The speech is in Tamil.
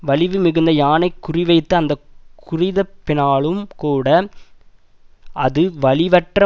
வலிவு மிகுந்த யானை குறிவைத்து அந்த குறிதப்பினாலும்கூட அது வலிவற்ற